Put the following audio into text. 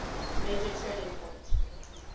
major turning point